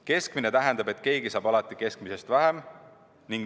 Keskmine tähendab, et keegi saab alati keskmisest vähem.